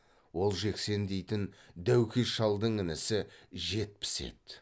ол жексен дейтін дәукес шалдың інісі жетпіс еді